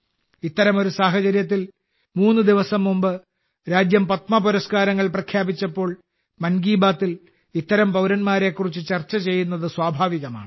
ഇത്തരമൊരു സാഹചര്യത്തിൽ മൂന്ന് ദിവസം മുമ്പ് രാജ്യം പത്മപുരസ്കാരങ്ങൾ പ്രഖ്യാപിച്ചപ്പോൾ മൻ കി ബാത്തിൽ ഇത്തരം പൌരന്മാരെക്കുറിച്ച് ചർച്ച ചെയ്യുന്നത് സ്വാഭാവികമാണ്